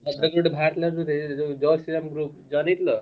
ଏବେ ଗୋଟେ ବାହାରୀଥିଲା ଜୟ ଶ୍ରୀ ରାମ group ରେ join ହେଇଥିଲ